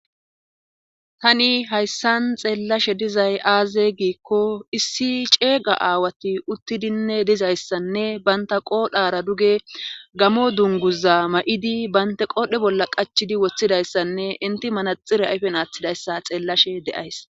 tani hayssan xeellashe dizay aaze giikko issi ceega aawati uttidinne dizayssanne baynta qoodhara duge gamo dunguza ma7idi baynta qoodhe bolla qachidi woththidayssanne inti manaxire ayfen aaththidayssa xeellashe de7ays